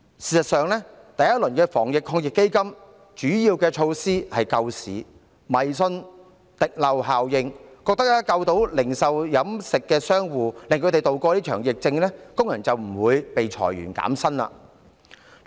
事實上，第一輪防疫抗疫基金的主要措施是為了救市，政府迷信滴漏效應，覺得只要能挽救零售業和飲食商戶，讓他們渡過這場疫情，工人便不會遭裁員或減薪。